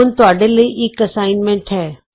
ਹੁਣ ਤੁਹਾਡੇ ਲਈ ਇਕ ਅਸਾਈਨਮੈਂਟ ਹੈ